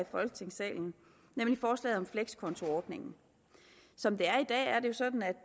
folketingssalen nemlig forslaget om flekskontoordningen som